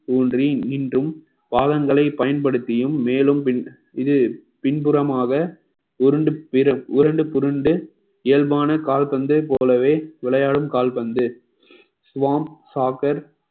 ஊன்றி இன்றும் பாதங்களை பயன்படுத்தியும் மேலும் பின்~ இது பின்புறமாக உருண்டு பிர~ புரண்டு இயல்பான கால்பந்து போலவே விளையாடும் கால்பந்து swam soccer